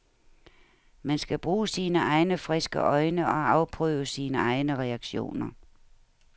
Man kan bruge sine egne friske øjne og afprøve sine egne reaktioner.